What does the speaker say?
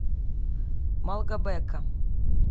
малгобека